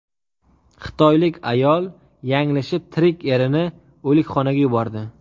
Xitoylik ayol yanglishib tirik erini o‘likxonaga yubordi.